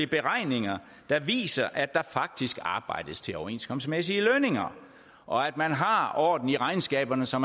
beregninger der viser at der faktisk arbejdes til overenskomstmæssige lønninger og at man har orden i regnskaberne så